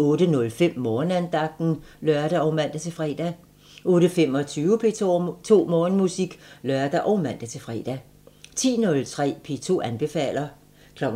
08:05: Morgenandagten (lør og man-fre) 08:25: P2 Morgenmusik (lør og man-fre) 10:03: P2 anbefaler 12:00: